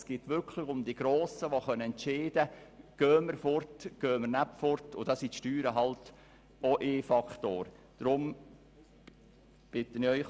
Es geht wirklich um die Grossen, die entscheiden können, ob sie weggehen wollen oder nicht.